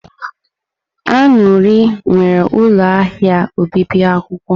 Aṅụri nwere ụlọ ahịa obibi akwụkwọ.